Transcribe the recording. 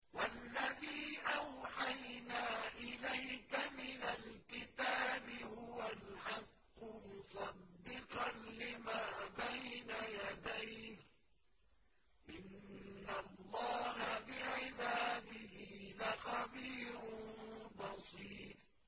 وَالَّذِي أَوْحَيْنَا إِلَيْكَ مِنَ الْكِتَابِ هُوَ الْحَقُّ مُصَدِّقًا لِّمَا بَيْنَ يَدَيْهِ ۗ إِنَّ اللَّهَ بِعِبَادِهِ لَخَبِيرٌ بَصِيرٌ